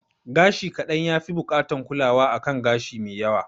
Gashi kaɗan ya fi bukatan kulawa a kan gashi me yawa